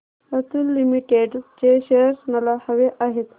Atul limited चे shares मला हवे आहेत